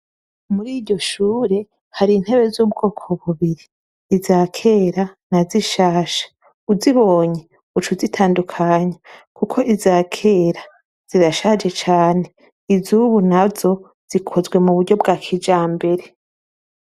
Muri iryo shure hari intebe z'ubwoko bubiri: iza kera na zishasha ,uzibonye ucuzitandukanya kuko iza kera zirashaje cane , iz'ubu nazo zikozwe mu buryo bwa kijambere.